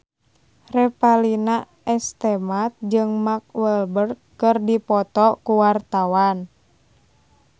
Revalina S. Temat jeung Mark Walberg keur dipoto ku wartawan